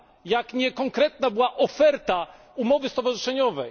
i niekonkretna była oferta umowy stowarzyszeniowej.